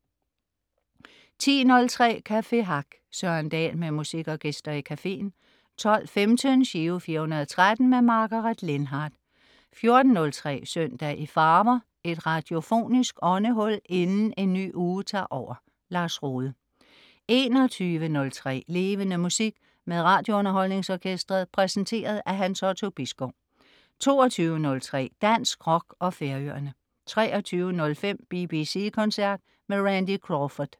10.03 Café Hack. Søren Dahl med musik og gæster i cafeen 12.15 Giro 413. Margaret Lindhardt 14.03 Søndag i farver. Et radiofonisk åndehul inden en ny uge tager over. Lars Rohde 21.03 Levende Musik. Med RadioUnderholdningsOrkestret. Præsenteret af Hans Otto Bisgaard 22.03 Dansk rock og Færøerne 23.05 BBC Koncert med Randy Crawford